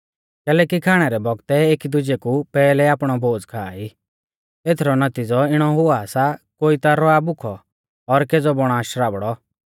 कैलैकि खाणै रै बौगतै एकी दुजै कु पैहलै आपणौ भोज़ खा ई एथरौ नौतिज़ौ इणौ हुआ सा कोई ता रौआ भुखौ और केज़ौ बौणा शराबड़ौ